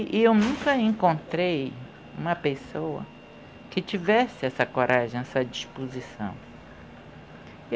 E eu nunca encontrei uma pessoa que tivesse essa coragem, essa disposição.